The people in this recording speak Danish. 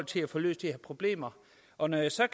til at få løst de her problemer og når jeg så